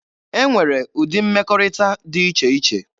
E nwere ụdị mmekọrịta dị iche iche.